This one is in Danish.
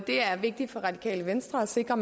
er vigtigt for radikale venstre at sikre